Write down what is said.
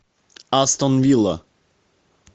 астон вилла